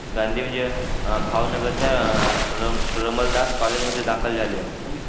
गांधी म्हणजे भावनगरच्या अं रामलदास कॉलेजमध्ये दाखल झाले.